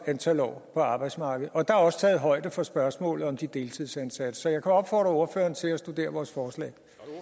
antal år på arbejdsmarkedet og der er også taget højde for spørgsmålet om de deltidsansatte så jeg kan opfordre ordføreren til at studere vores forslag